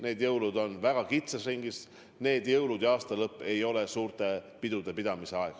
Need jõulud on väga kitsas ringis, need jõulud ja see aastalõpp ei ole suurte pidude pidamise aeg.